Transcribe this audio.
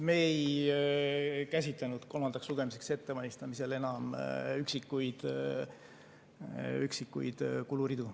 Me ei käsitlenud kolmandaks lugemiseks ettevalmistamisel enam üksikuid kuluridu.